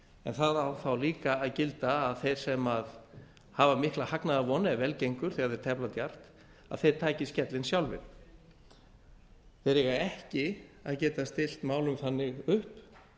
en það á þá líka að gilda að þeir sem hafa mikla hagnaðarvon ef vel gengur þegar þeir tefla djarft að þeir taki skellinn sjálfir þeir eiga ekki að geta stillt málum þannig upp